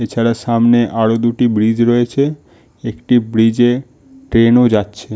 এছাড়া সামনে আরো দুটি ব্রিজ রয়েছে। একটি ব্রিজ এ ট্রেন ও যাচ্ছে।